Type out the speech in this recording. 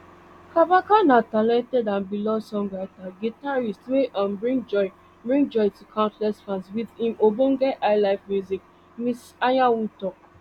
kabaka na talented and beloved songwriter and guitarist wey um bring joy bring joy to countless fans wit im ogbonge highlife music miss anyanwu tok